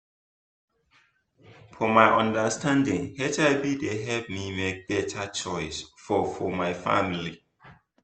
for my understanding hiv dey help me make better choice for for my family